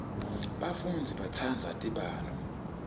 bafundzi batsandza tibalo